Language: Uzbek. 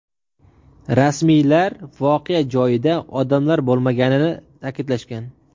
Rasmiylar voqea joyida odamlar bo‘lmaganini ta’kidlashgan.